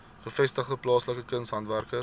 gevestigde plaaslike kunshandwerkers